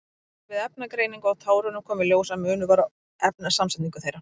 Við efnagreiningu á tárunum kom í ljós að munur var á efnasamsetningu þeirra.